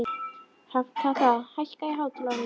Hrafnkatla, hækkaðu í hátalaranum.